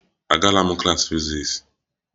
Agala klas fiziks!